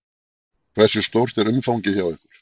Hversu stórt er umfangið hjá ykkur?